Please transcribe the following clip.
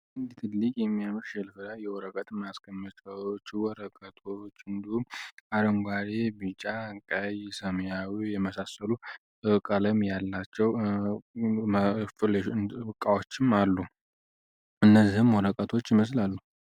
እንዲት ትልቅ የሚያምር ሸልፍ ላይ የወረቀት መስቀመጫዎች ወረቀቶች እንዲሁም አረንጓዴ፣ ቢጫ፣ ቀይ የመሳሰሉ ቀለም ያላቸው ቃዎችም አሉ እነዚህም ወረቀቶች ይመስላሉ።